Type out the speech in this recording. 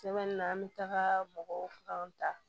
Sɛbɛn na an bɛ taga mɔgɔw kan ta